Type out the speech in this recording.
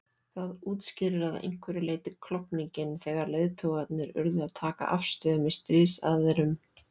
Það útskýrir að einhverju leyti klofninginn þegar leiðtogarnir urðu að taka afstöðu með stríðsaðilum.